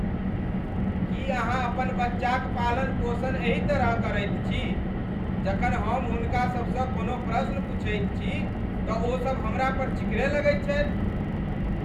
की अहाँ अपन बच्चाक पालन पोषण एहि तरहेँ करैत छी? जखन हम हुनका सबसँ कोनो प्रश्न पूछैत छी तँ ओसब हमरा पर चिकरय लगैत छथि।